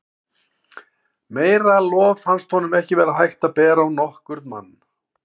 Meira lof fannst honum ekki vera hægt að bera á nokkurn mann.